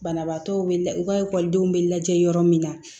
Banabaatɔw be la u ka ekɔlidenw bɛ lajɛ yɔrɔ min na